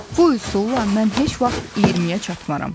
Bu üsulla mən heç vaxt 20-yə çatmaram.